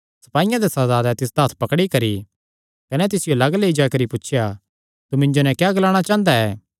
सपाईयां दे सरदारैं तिसदा हत्थ पकड़ी करी कने तिसियो लग्ग लेई जाई करी पुछया तू मिन्जो नैं क्या ग्लाणा चांह़दा ऐ